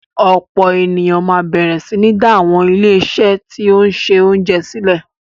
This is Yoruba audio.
Ọ̀pọ̀ ènìyàn máa bẹ̀rẹ̀ sí ní dá àwọn ilé-iṣé tí ó ń ṣe oúnjẹ sílẹ̀.